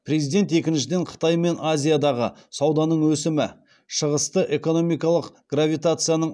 президент екіншіден қытай мен азиядағы сауданың өсімі шығысты экономикалық гравитацияның